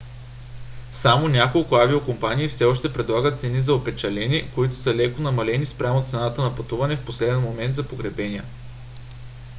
само няколко авиокомпании все още предлагат цени за опечалени които са леко намалени спрямо цената на пътуване в последен момент за погребения